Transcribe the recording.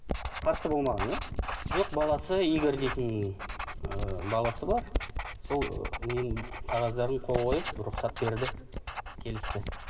қарсы болмаған иә жоқ баласы игорь дейтін ыыы баласы бар сол ы ненің қағаздарын қол қойып рұқсат берді келісті